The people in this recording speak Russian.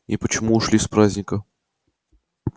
и почему ушли с праздника